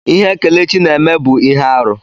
Ihe Kelechi na-eme bụ ihe arụ.